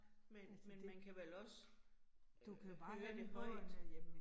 Men men man kan vel også øh høre det højt